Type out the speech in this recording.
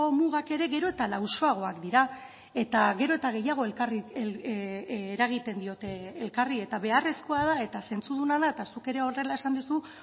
mugak ere gero eta lausoagoak dira eta gero eta gehiago eragiten diote elkarri eta beharrezkoa da eta zentzuduna da eta zuk ere horrela esan duzu